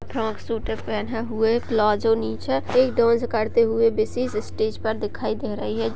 Frock suit पहने हुए palazzo नीचे एक डांस करते हुए स्टेज पर दिखाई दे रही है।